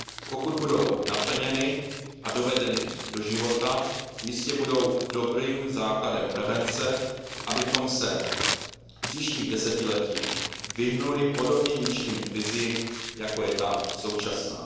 Pokud budou naplněny a dovedeny do života, jistě budou dobrým základem prevence, abychom se v příštích desetiletích vyhnuli podobně ničivým krizím, jako je ta současná.